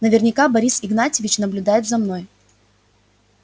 наверняка борис игнатьевич наблюдает за мной